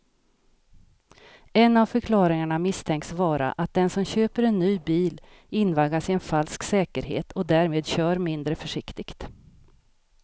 En av förklaringarna misstänks vara att den som köper en ny bil invaggas i en falsk säkerhet och därmed kör mindre försiktigt.